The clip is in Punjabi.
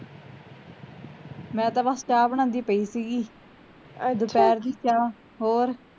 ਮੈਂ ਤਾਂ ਬਸ ਚਾਹ ਬਣਾਉਂਦੀ ਪਈ ਸੀਗੀ ਹੋਰ